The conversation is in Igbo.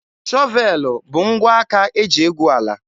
Shọvelụ bụ ngwa aka eji egwu ala.